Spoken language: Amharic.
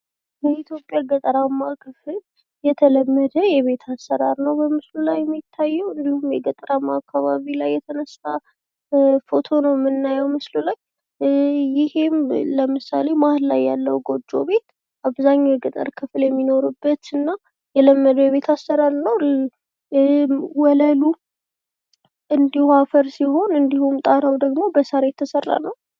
የኢትዮጵያ ገጠራማ ክፍል የተለመደ የቤት አሰራር ነዉ በምስሉ ላይ የሚታየዉ። እንዲሁም የገጠራማ አካባቢ ላይ የተነሳ ፎቶ ነዉ የምናየዉ ምስል ላይ፤ ይሄም ለምሳሌ መሀል ላይ ያለዉ ጎጆ ቤት አብዛኛዉ የገጠር ክፍል የሚኖሩበት እና የለመደዉ የቤት አሰራር ነዉ። ወለሉ እንዲሁ አፈር ሲሆን እንዲሁም ጣራዉ ደግሞ በሳር ነዉ የተሰራዉ።